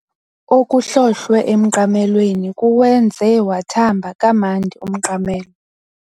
Okuhlohlwe emqamelweni kuwenze wathamba kamnandi umqamelo.